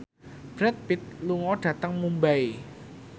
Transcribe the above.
Brad Pitt lunga dhateng Mumbai